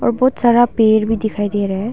और बहुत सारा पेड़ भी दिखाई दे रहा है।